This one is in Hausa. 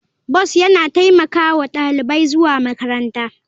Bus yana taimaka wa ɗalibai zuwa makaranta.